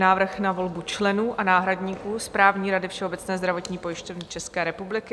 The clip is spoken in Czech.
Návrh na volbu členů a náhradníků Správní rady Všeobecné zdravotní pojišťovny České republiky